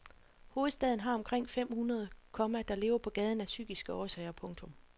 Hovedstaden har omkring fem hundrede, komma der lever på gaden af psykiske årsager. punktum